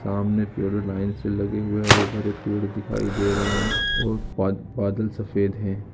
सामने पेड़ लाइन से लगे हुए हैं हरे-भरे पेड़ दिखाई दे रहे हैं और बाद-बादल सफेद हैं।